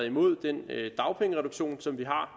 imod den dagpengereduktion som vi har